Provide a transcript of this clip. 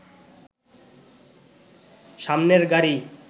সামনের গাড়ি